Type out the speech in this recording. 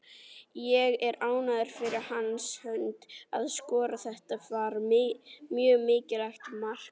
Ég er ánægður fyrir hans hönd að skora, þetta var mjög mikilvægt mark.